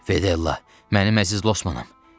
Fedella, mənim əziz Losmanım.